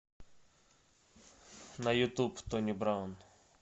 на ютуб тони браун